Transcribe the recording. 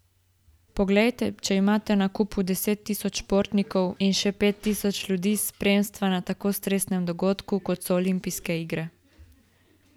Poglejte, če imate na kupu deset tisoč športnikov in še pet tisoč ljudi iz spremstva na tako stresnem dogodku, kot so olimpijske igre ...